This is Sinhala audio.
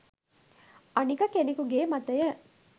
අනික කෙනෙකුගේ මතය